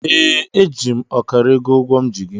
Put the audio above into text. Ee, eji m ọkara ego ụgwọ m ji gị.